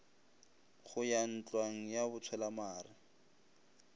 go ya ntlwang ya botshwelamare